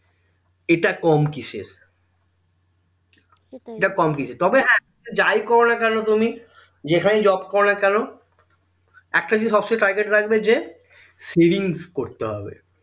এটা কম কিসের তবে হ্যাঁ যাই করো না কেন তুমি যেখানেই job করোনা কেন একটা জিনিস সবসময় target রাখবে যে savings করতে হবে